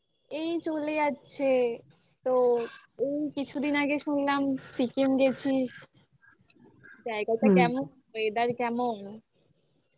এই চলে যাচ্ছে তো এই কিছুদিন আগে শুনলাম সিকিম গেছিস, জায়গাটা কেমন? weather কেমন?